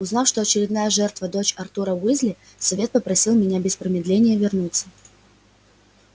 узнав что очередная жертва дочь артура уизли совет попросил меня без промедления вернуться